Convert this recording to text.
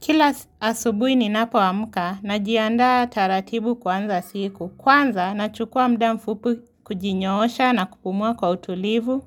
Kila asubuhi ninapo amka najiandaa taratibu kuanza siku. Kwanza nachukua muda mfupi kujinyoosha na kupumua kwa utulivu.